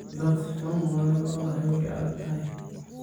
Dadh xum lalanolanay way aadaktahy.